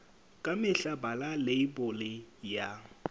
ka mehla bala leibole ya